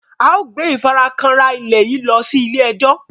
ao gbé ìfarakanra ilẹ yí ló sì ile-ejo.